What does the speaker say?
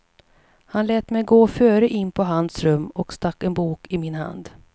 Han lät mig gå före in på hans rum och stack en bok i min hand.